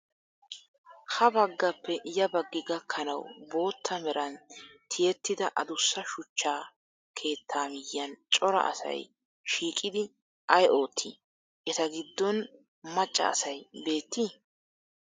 Ha baggappe ya baggi gakkanawu bootta meran ti"ettida adussa shuchcha keettaa miyyiyaan cora asay shiiqidi ayi oottii? Eta giddon macca asayi beettii?